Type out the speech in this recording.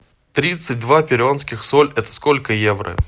тридцать два перуанских соль это сколько евро